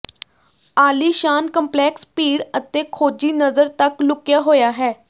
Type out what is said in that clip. ਆਲੀਸ਼ਾਨ ਕੰਪਲੈਕਸ ਭੀੜ ਅਤੇ ਖੋਜੀ ਨਜ਼ਰ ਤੱਕ ਲੁਕਿਆ ਹੋਇਆ ਹੈ